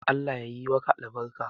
Allah yayi maka albarka.